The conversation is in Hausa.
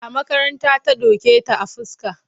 A makaranta ta doke ta a fuska.